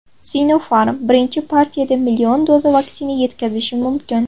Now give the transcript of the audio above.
Sinopharm birinchi partiyada million doza vaksina yetkazishi mumkin.